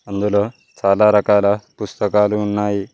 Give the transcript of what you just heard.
అందులో చాలా రకాల పుస్తకాలు ఉన్నాయి